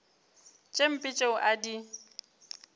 tše mpe tšeo a di